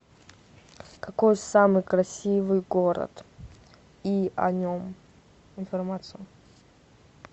какой самый красивый город и о нем информация